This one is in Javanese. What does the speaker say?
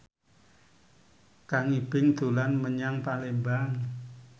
Kang Ibing dolan menyang Palembang